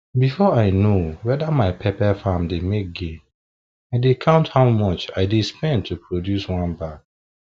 before i know whether my pepper farm dey make gain i dey count how much i dey spend to produce one bag